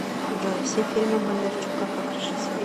джой все фильмы бондарчука как режиссера